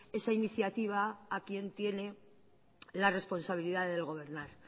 esa iniciativa a quien tiene la responsabilidad de gobernar